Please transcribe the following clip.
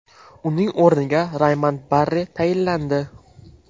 Uning o‘rniga Raymond Barre tayinlandi.